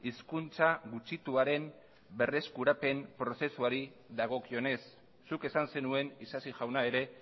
hizkuntza gutxituaren berreskurapen prozesuari dagokionez zuk esan zenuen isasi jauna ere